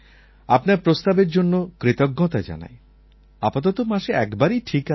আপনার প্রস্তাবের জন্য কৃতজ্ঞতা জানাই আপাতত মাসে একবারই ঠিক আছে